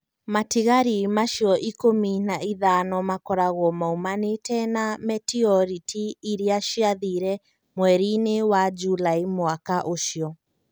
Matigari macio ikũmi na ithano makoragwo moimanĩte na meteoriti iria ciathire mweri-inĩ wa Julaĩ mwaka ũcio.